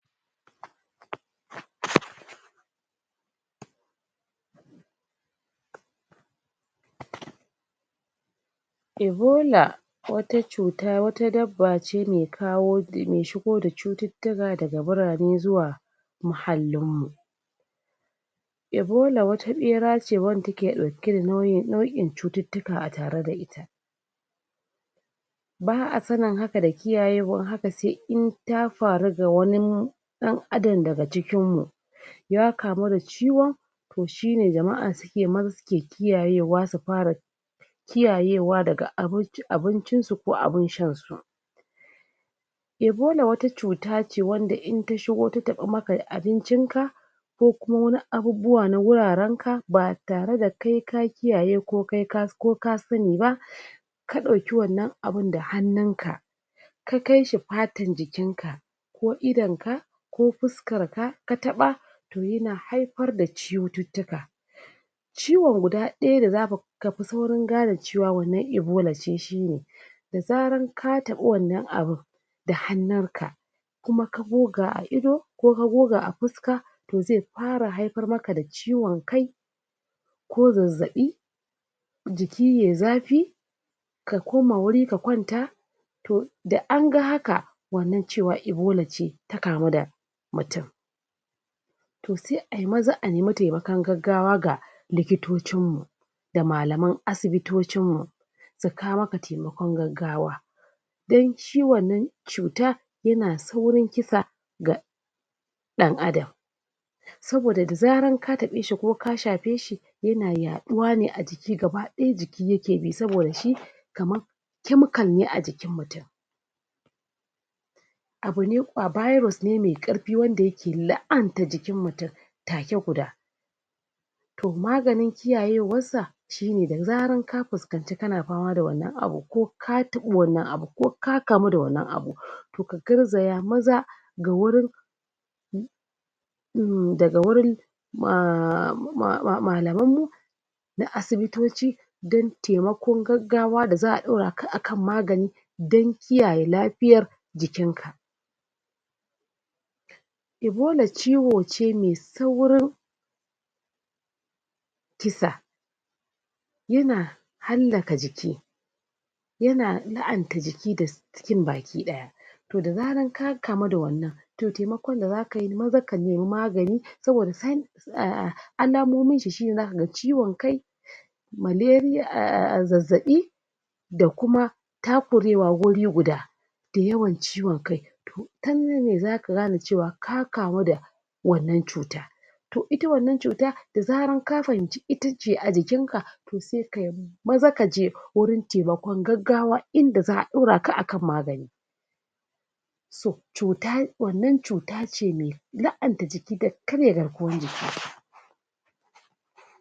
??? ibola wata cuta wata dabba ce me kawo me shigo da cututtuka daga birane zuwa muhallin mu ibola wata ɓera ce wanda take ɗauke da na nauyin nau'in cututtuka a tare da ita ba'a sanin haka da kiyayewan haka sai in ta faru ga wanin ɗan adan daga cikinmu ya kamu da ciwon to shine jama'a suke maza suke kiyayewa su para kiyayewa daga abinci abincin su ko abin shan su ibola wata cuta ce wanda in ta shigo ta taɓi maka abincin ka ko kuma wani abubbuwa na wuraren ka ba tare da kai ka kiyaye ko kai ka ko ka sani ba ka ɗauki wannan abun da hannunka ka kai shi patan jikinka ko idonka ko puskarka ka taɓa to yana haipar da ciwututtuka ciwon guda ɗaya da zaka kapi saurin gane cewa wannan ibola ce shine da zaran ka taɓi wannan abin da hannunka kuma ka goga a ido ko ka goga a puska to xe para haipar maka da ciwon kai ko zazzaɓi jiki yai zafi ka koma wuri ka kwanta to da anga haka wannan cewa ibola ce ta kamu da mutun to sai ai maza a nemi temakan gaggawa ga likitocin mu da malaman asibitocin mu su kawo maka temakon gaggawa don shin wannan cuta yana saurin kisa ga ɗan adan saboda da zaran ka taɓe shi ko ka shape shi yana yaɗuwa ne a jiki gaba ɗaya jiki yake bi saboda shi kaman kemikal ne a jikin mutun abu ne a biros ne me ƙarpi wanda yake la'anta jikin mutun take guda to maganin kiyayewassa shine da zaran ka puskanci kana pama da wannan abu ko ka taɓi wannan abu ko ka kamu da wannan abu to ka garzaya maza ga wurin? um daga wurin um malaman mu na asibitoci don temakon gaggawa da za'a ɗora ka akan magani dan kiyaye lapiyar jikin ka ibola ciwo ce me saurin kisa yana hallaka jiki yana la'anta jiki das jikin baki ɗaya to da zaran ka kamu da wannan to temakon da zakayi maza ka nemi magani saboda?? alamomin shi shine zaka ga ciwon kai malariya um zazzaɓi da kuma takurewa wuri guda da yawan ciwon kai to ta nan ne zaka gane cewa ka kamu da wannan cuta to ita wannan cuta da zaran ka fahimci itace a jikin ka to se kayi maza kaje wurin temakon gaggawa inda za'a dora ka akan magani to cuta wannan cuta ce me la'anta jiki da karya garkuwan jiki